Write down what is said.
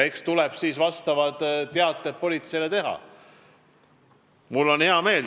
Eks tuleb siis politseile vastavad teated teha.